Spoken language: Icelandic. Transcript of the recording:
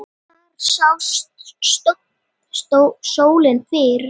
Þar sást sólin fyrr.